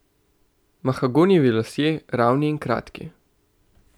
Mahagonijevi lasje, ravni in kratki.